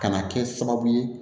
Ka na kɛ sababu ye